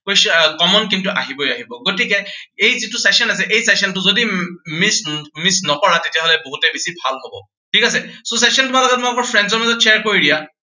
question আহ common কিন্তু আহিবই আহিব। গতিকে এই যিটো session আছে, এই session টো যদি উম missed missed নকৰা, তেতিয়া হলে বহুতেই বেছি ভাল হব। ঠিক আছে, so session তোমালোকে তোমালোকৰ friends ৰ মাজত share কৰি দিয়া।